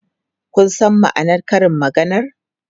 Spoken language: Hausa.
Kun san ma'anar karin maganar?